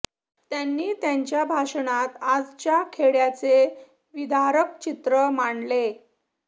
त्यांनी त्यांच्या भाषणात आजच्या खेड्याचे विदारक चित्र मांडले